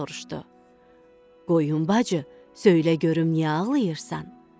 Keçi soruşdu: "Qoyun bacı, söylə görüm niyə ağlayırsan?"